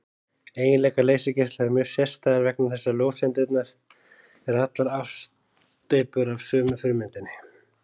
Eiginleikar leysigeisla eru mjög sérstæðir vegna þess að ljóseindirnar eru allar afsteypur af sömu frummyndinni.